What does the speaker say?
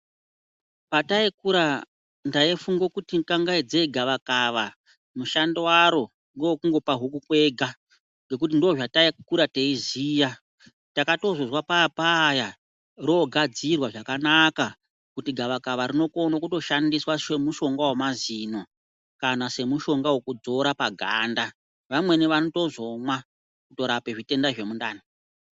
Pataikura ndaifungo kuti kangaidzei gavakava mushando waro ngowekungopa huku kwega, ngekuti ndozvataikura teiziya. Takatozozwa pave paya rogadzirwa zvakanaka kuti gavakava rinokono kutoshandiswa semushonga wemazino, kana semushonga wekudzora paganda. Vamweni vanotozomwa kutorape zvitenda zvemundani.